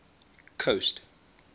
coast